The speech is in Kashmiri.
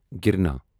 گرنا